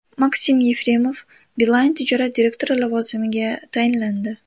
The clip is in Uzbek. Maksim Yefremov Beeline tijorat direktori lavozimiga tayinlandi.